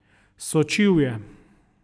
Sočivje.